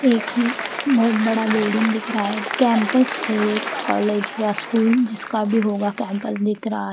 एक ही बहोत बड़ा बिल्डिंग दिख रहा हैं कैंपस हैं कॉलेज या स्कूल जिसका भी होगा कैंपस दिख रहा--